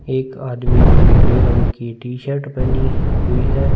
एक आदमी ने पिले रंग की टीशर्ट पहनी हुई है।